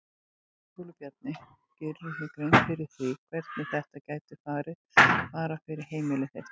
Ingólfur Bjarni: Gerirðu þér grein fyrir því hvernig þetta gæti farið bara fyrir heimili þitt?